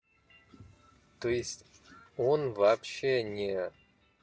то есть он вообще не